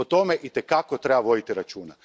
O tome itekako treba voditi računa.